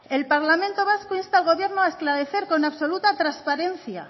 el parlamento vasco insta al gobierno a esclarecer con absoluta transparencia